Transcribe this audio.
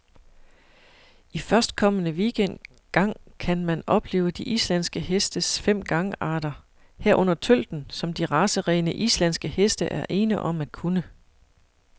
I førstkommende weekend gang kan man opleve de islandske hestes fem gangarter, herunder tølten, som de racerene, islandske heste er ene om at kunne.